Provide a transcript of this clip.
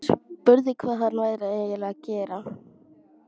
Spurði hvað hann væri eiginlega að gera.